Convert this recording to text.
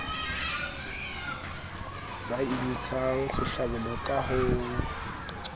ba intshang sehlabelo ka ho